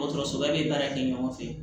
Dɔgɔtɔrɔsoba bɛ baara kɛ ɲɔgɔn fɛ